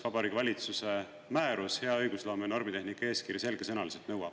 … mida Vabariigi Valitsuse määrus "Hea õigusloome ja normitehnika eeskiri" selgesõnaliselt nõuab.